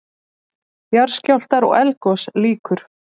JARÐSKJÁLFTAR OG ELDGOS LÝKUR